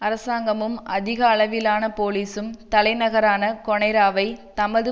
அரசாங்கமும் அதிக அளவிலான போலிசும் தலைநகரான கொனைராவை தமது